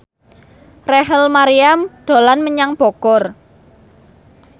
Rachel Maryam dolan menyang Bogor